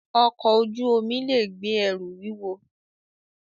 Ọkọ̀ ojú omi lè gbé ẹrù wúwo